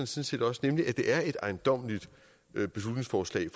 set også nemlig at det er et ejendommeligt beslutningsforslag